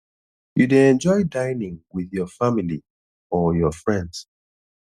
you dey enjoy dinning with your family or your friends